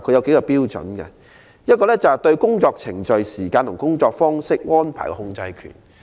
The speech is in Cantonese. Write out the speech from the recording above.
第一，誰人對工作程序、時間及工作方式安排擁有控制權。